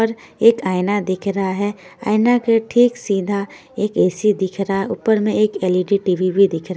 और एक आइना दिख रहा है आइना के ठीक सीधा एक ए_सी दिख रहा है ऊपर मे एक एल_इ_डी टी_वी भी दिख रा--